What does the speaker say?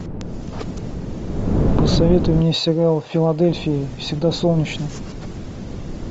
посоветуй мне сериал в филадельфии всегда солнечно